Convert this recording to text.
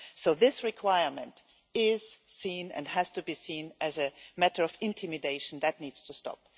So this requirement is seen and has to be seen as a matter of intimidation that needs to stop.